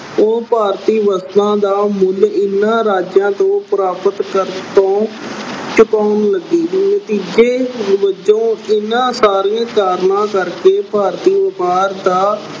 ਉਹ ਭਾਰਤੀ ਵਸਤਾਂ ਦਾ ਮੁੱਲ ਇਹਨਾਂ ਰਾਜਾਂ ਤੋਂ ਪ੍ਰਾਪਤ ਕਰਨ ਤੋਂ ਚੁਕਾਉਣ ਲੱਗੇ। ਨਤੀਜੇ ਵਜੋਂ ਇਹਨਾਂ ਸਾਰੇ ਕਾਰਨਾਂ ਕਰਕੇ ਭਾਰਤੀ ਵਪਾਰ ਦਾ